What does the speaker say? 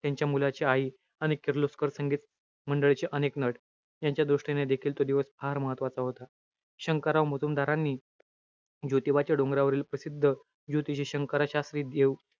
त्यांच्या मुलाची आई, आणि किर्लोस्कर संगीत मंडळचे अनेक नट, यांच्या दृष्टीने देखील तो दिवस फार महत्वाचा होता. शंकरराव मुजुमदारानी ज्योतिबाच्या डोंगरावरील प्रसिद्ध, ज्योतिषी शंकरशास्त्री देव,